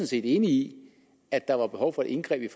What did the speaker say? set enig i at der er behov for et indgreb